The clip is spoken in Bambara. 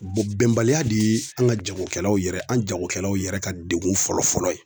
Bɛnbaliya de ye anw ka jagokɛlaw yɛrɛ, an jagokɛlaw yɛrɛ ka degun fɔlɔ-fɔlɔ ye.